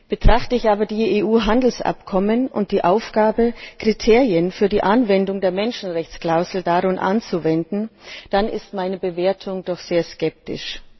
Betrachte ich aber die EU Handelsabkommen und die Aufgabe, Kriterien für die Anwendung der Menschenrechtsklausel darin anzuwenden, dann ist meine Bewertung doch sehr skeptisch.